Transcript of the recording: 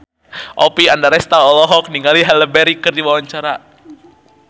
Oppie Andaresta olohok ningali Halle Berry keur diwawancara